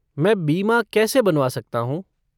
मैं बीमा कैसे बनवा सकता हूँ?